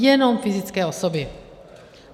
Jenom fyzické osoby.